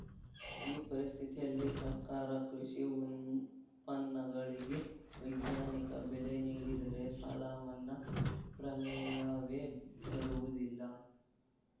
ಈ ಪರಿಸ್ಥಿತಿಯಲ್ಲಿ ಸರ್ಕಾರ ಕೃಷಿ ಉತ್ಪನ್ನಗಳಿಗೆ ವೈಜ್ಞಾನಿಕ ಬೆಲೆ ನೀಡಿದರೆ ಸಾಲ ಮನ್ನಾ ಪ್ರಮೇಯವೇ ಬರುವುದಿಲ್ಲ